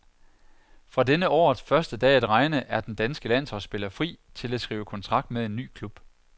Fra denne årets første dag at regne er den danske landsholdsspiller fri til at skrive kontrakt med en ny klub